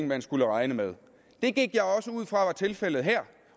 man skulle regne med det gik jeg også ud fra tilfældet her